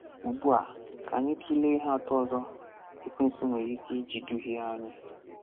Ugbu a, ka anyị tụlee ihe atọ ọzọ Ekwensu nwere ike iji duhie anyị.